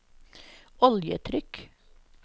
oljetrykk